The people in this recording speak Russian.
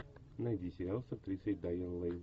найди сериал с актрисой дайан лейн